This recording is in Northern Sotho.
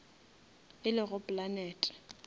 e lego planete